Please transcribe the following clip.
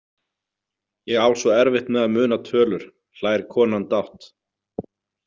Ég á svo erfitt með að muna tölur, hlær konan dátt.